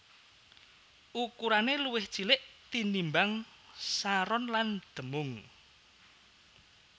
Ukurané luwih cilik tinimbang saron lan demung